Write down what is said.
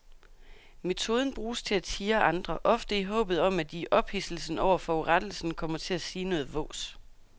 Metoden bruges til at tirre andre, ofte i håbet om at de i ophidselsen over forurettelsen kommer til at sige noget vås.